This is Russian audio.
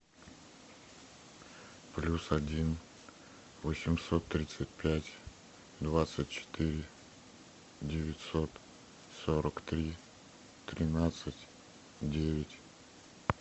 плюс один восемьсот тридцать пять двадцать четыре девятьсот сорок три тринадцать девять